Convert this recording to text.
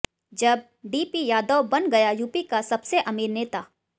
जब डीपी यादव बन गया यूपी का सबसे अमीर नेता